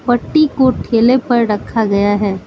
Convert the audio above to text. पट्टी को ठेले पर रखा गया है।